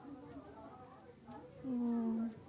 ওহ